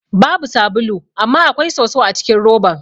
Babu sabulu amma akwai soso acikin roban.